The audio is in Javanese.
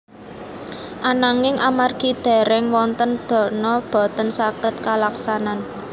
Ananging amargi dèrèng wonten dana boten saged kalaksanan